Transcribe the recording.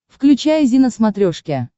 включай зи на смотрешке